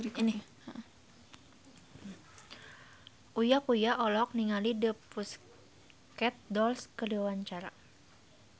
Uya Kuya olohok ningali The Pussycat Dolls keur diwawancara